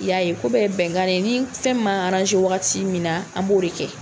I y'a ye. Ko bɛɛ ye bɛnkan de ye . Ni fɛn min b'an wagati min na an b'o de kɛ.